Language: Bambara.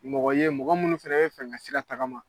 Mɔgɔ ye mɔgɔ munnu fɛnɛ bɛ fɛ ka sira tagama.